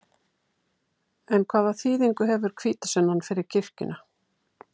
En hvaða þýðingu hefur hvítasunnan fyrir kirkjuna?